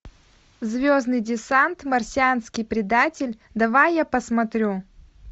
звездный десант марсианский предатель давай я посмотрю